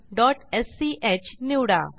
project1स्क निवडा